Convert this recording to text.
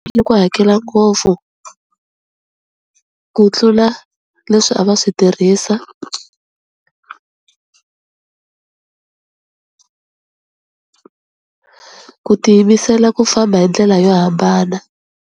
ku hakela ngopfu ku tlula leswi a va swi tirhisa, ku tiyimisela ku famba hi ndlela yo hambana.